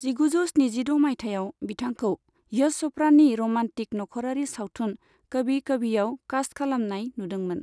जिगुजौ स्निजिद' मायथाइयाव बिथांखौ यश चपड़ानि रमान्टिक नख'रारि सावथुन कभी कभीयाव कास्ट खालामनाय जादोंमोन।